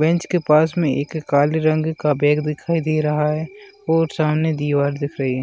Bench के पास में काले रंग का एक बैग दिखाई दे रहा है और सामने दीवार दिख रही है।